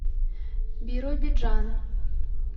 биробиджана